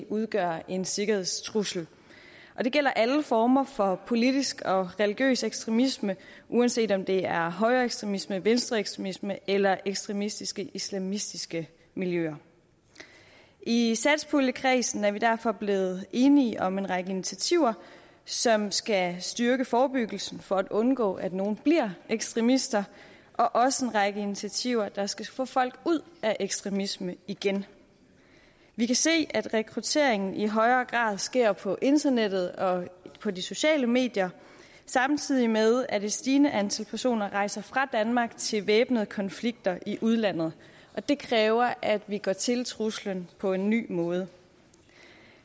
udgøre en sikkerhedstrussel det gælder alle former for politisk og religiøs ekstremisme uanset om det er højreekstremisme venstreekstremisme eller ekstremistiske islamistiske miljøer i satspuljekredsen at vi derfor blevet enige om en række initiativer som skal styrke forebyggelsen for at undgå at nogle bliver ekstremister og også en række initiativer der skal få folk ud af ekstremisme igen vi kan se at rekrutteringen i højere grad sker på internettet og på de sociale medier samtidig med at et stigende antal personer rejser fra danmark til væbnede konflikter i udlandet det kræver at vi går til truslen på en ny måde